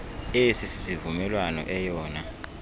esi sivumelwano eyona